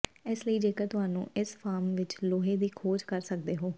ਇਸ ਲਈ ਜੇਕਰ ਤੁਹਾਨੂੰ ਇਸ ਫਾਰਮ ਵਿੱਚ ਲੋਹੇ ਦੀ ਖੋਜ ਕਰ ਸਕਦੇ ਹੋ